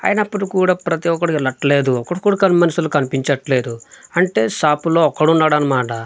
అయినప్పుడు కూడా ప్రతి ఒక్కడికి లట్ లేదు ఒకడు కూడా కన్ మనుషులు కనిపించట్లేదు అంటే షాపు లో ఒక్కడున్నాడనమాట.